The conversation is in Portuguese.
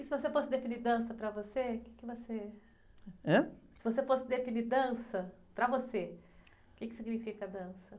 Se você fosse definir dança para você, o que você...h?e você fosse definir dança para você, o quê que significa a dança?